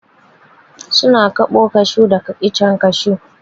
Su na kaɓo kashu daga icen kashu.